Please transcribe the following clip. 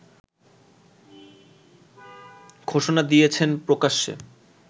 ঘোষণা দিয়েছেন প্রকাশ্যে